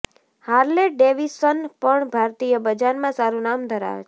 Harley Davidson પણ ભારતીય બજારમાં સારું નામ ધરાવે છે